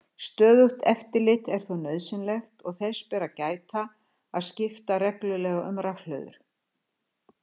Stöðugt eftirlit er þó nauðsynlegt og þess ber að gæta að skipta reglulega um rafhlöður.